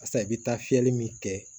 Barisa i bi taa fiyɛli min kɛ